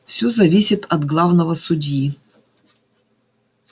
все зависит от главного судьи